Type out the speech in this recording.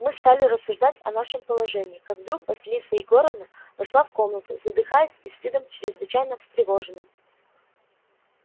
мы стали рассуждать о нашем положении как вдруг василиса егоровна вошла в комнату задыхаясь и с видом чрезвычайно встревоженным